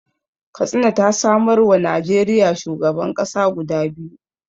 Katsina ta samarwa Najeriya shugaban ƙasa guda biyu